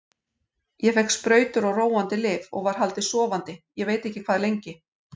Ég fékk sprautur og róandi lyf og var haldið sofandi ég veit ekki hvað lengi.